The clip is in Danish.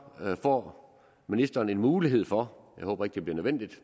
får ministeren en mulighed for jeg håber ikke det bliver nødvendigt